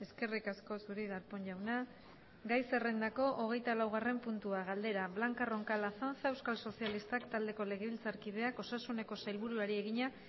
eskerrik asko zuri darpón jauna gai zerrendako hogeitalaugarren puntua galdera blanca roncal azanza euskal sozialistak taldeko legebiltzarkideak osasuneko sailburuari egina